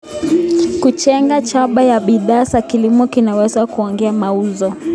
Kujenga chapa ya bidhaa za kilimo kunaweza kuongeza mauzo.